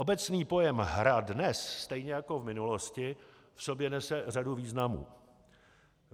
Obecný pojem hra dnes stejně jako v minulosti v sobě nese řadu významů.